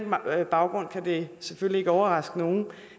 baggrund kan det selvfølgelig ikke overraske nogen